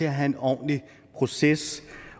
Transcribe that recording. at have en ordentlig proces